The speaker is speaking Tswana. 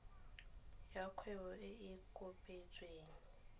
ya kgwebo e e kopetsweng